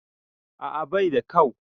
A'a baida kau